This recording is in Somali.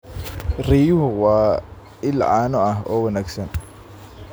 Riyuhu waa il caano ah oo wanaagsan.